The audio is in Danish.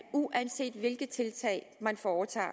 uanset hvilke tiltag man foretager